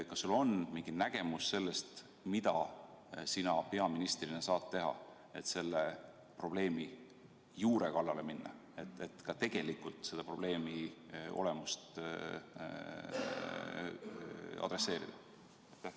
Kas sul on mingi nägemus sellest, mida sina peaministrina saad teha, et selle probleemi juure kallale minna, et tegelikult selle probleemi olemusega tegelda?